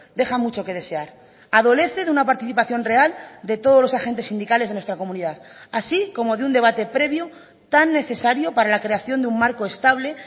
deja mucho que desear adolece de una participación real de todos los agentes sindicales de nuestra comunidad así como de un debate previo tan necesario para la creación de un marco estable